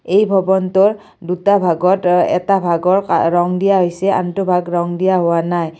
এই ভৱনটোৰ দুটা ভাগত অ এটা ভাগৰ কা ৰং দিয়া হৈছে আনটো ভাগ ৰং দিয়া হোৱা নাই।